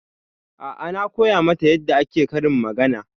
A'a na koya mata yarda ake karin magana.